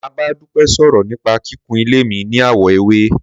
Màá bá Dúpẹ́ sòrò nípa kíkún ilé mi ní àwọ̀ ewé